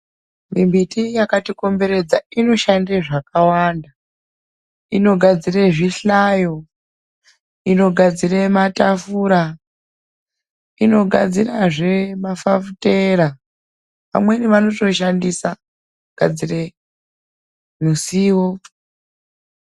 Mimbiti yakatikomberedza inoshande zvakawanda. Inogadzire zvihlayo, inogadzire matafura, inogadzirazve mafafitera. Vamweni vanotoshandisa kugadzire ruzivo.